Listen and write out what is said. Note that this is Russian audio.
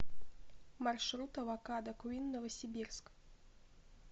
маршрут авокадо квин новосибирск